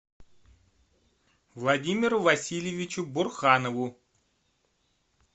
владимиру васильевичу бурханову